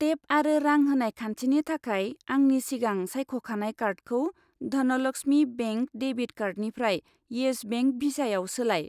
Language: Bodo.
टेप आरो रां होनाय खान्थिनि थाखाय आंनि सिगां सायख'खानाय कार्डखौ धनलक्समि बेंक डेबिट कार्डनिफ्राय इयेस बेंक भिसायाव सोलाय।